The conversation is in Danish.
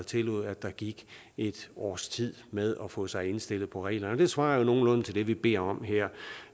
tillod at der gik et års tid med at få sig indstillet på reglerne det tror jeg er nogenlunde det vi beder om her